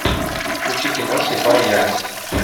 включи кино слепая ярость